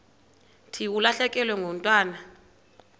thi ulahlekelwe ngumntwana